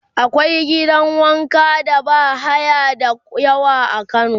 akwai gidan wanka da bahaya da yawa a kano